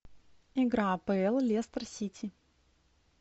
игра апл лестер сити